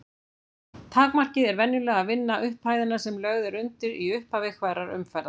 Takmarkið er venjulega að vinna upphæðina sem lögð er undir í upphafi hverrar umferðar.